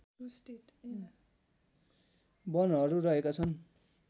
वनहरू रहेका छन्